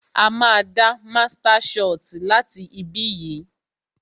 A máa dá master soti láti ibí yìí